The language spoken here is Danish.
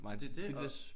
Det det og